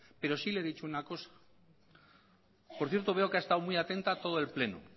pero sí le he dicho una cosa por cierto veo que ha estado muy atenta a todo el pleno